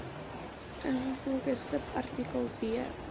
ingevolge subartikel b